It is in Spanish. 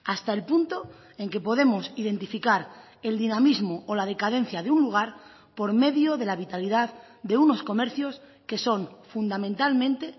hasta el punto en que podemos identificar el dinamismo o la decadencia de un lugar por medio de la vitalidad de unos comercios que son fundamentalmente